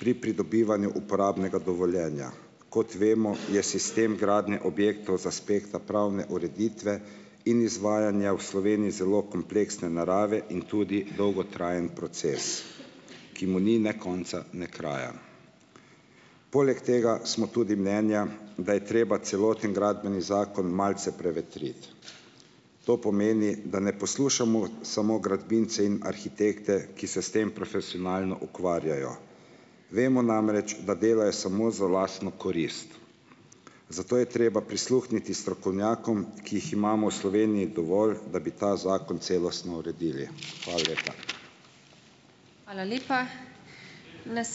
pri pridobivanju uporabnega dovoljenja. Kot vemo, je sistem gradnje objektov iz aspekta pravne ureditve in izvajanja v Sloveniji zelo kompleksne narave in tudi dolgotrajen proces, ki mu ni ne konca ne kraja. Poleg tega smo tudi mnenja, da je treba celoten Gradbeni zakon malce prevetriti. To pomeni, da ne poslušamo samo gradbince in arhitekte, ki se s tem profesionalno ukvarjajo. Vemo namreč, da delajo samo za lastno korist. Zato je treba prisluhniti strokovnjakom, ki jih imamo v Sloveniji dovolj, da bi ta zakon celostno uredili. Hvala lepa.